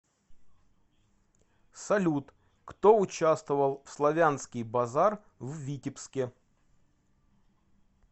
салют кто участвовал в славянский базар в витебске